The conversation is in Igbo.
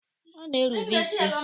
Ọ na-erube isi.